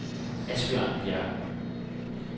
Asbjørn Bjerg